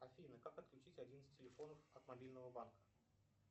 афина как отключить один из телефонов от мобильного банка